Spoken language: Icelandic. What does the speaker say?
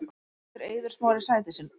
Heldur Eiður Smári sæti sínu